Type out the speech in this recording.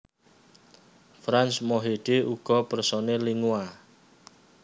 Frans Mohede uga personèl Lingua